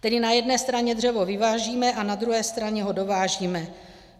Tedy na jedné straně dřevo vyvážíme a na druhé straně ho dovážíme.